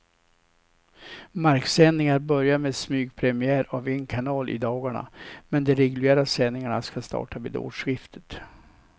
Marksändningar börjar med smygpremiär av en kanal i dagarna, men de reguljära sändningarna ska starta vid årsskiftet.